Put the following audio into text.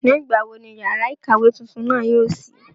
Nígbà wo ni yàrá ìkàwé tuntun náà yóò ṣí?